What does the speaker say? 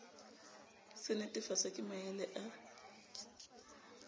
se netefatswa ke maele a